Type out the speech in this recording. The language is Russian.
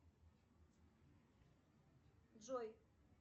джой